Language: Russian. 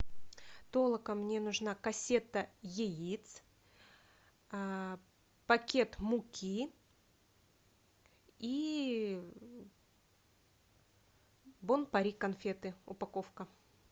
толока мне нужна кассета яиц пакет муки и бон пари конфеты упаковка